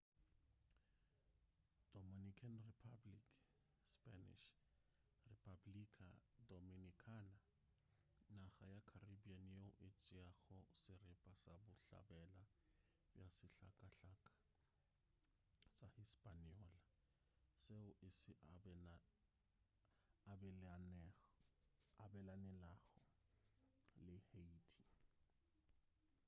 dominican republic spanish: república dominicana naga ya caribbean yeo e tšeago seripa sa bohlabela bja sehlakahlaka sa hispaniola seo e se abelanelago le haiti